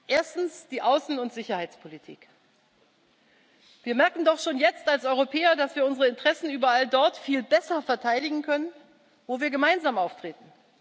Erstens die Außen und Sicherheitspolitik Wir merken doch schon jetzt als Europäer, dass wir unsere Interessen überall dort viel besser verteidigen können, wo wir gemeinsam auftreten.